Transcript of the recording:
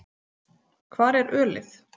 Hvar er ölið?